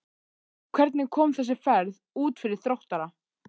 Hvernig kom þessi ferð út fyrir Þróttara?